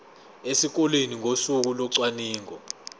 esikoleni ngosuku locwaningo